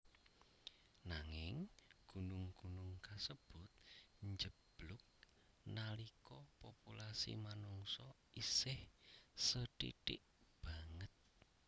Nanging gunung gunung kasebut njeblug nalika populasi manungsa isih sethithik banget